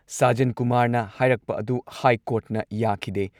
ꯁꯥꯖꯟ ꯀꯨꯃꯥꯔꯅ ꯍꯥꯏꯔꯛꯄ ꯑꯗꯨ ꯍꯥꯏ ꯀꯣꯔꯠꯅ ꯌꯥꯈꯤꯗꯦ ꯫